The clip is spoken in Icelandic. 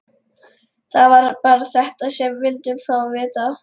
Það var bara þetta sem við vildum fá að vita.